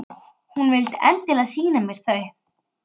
En, af hverju er hún þá að þessu streði?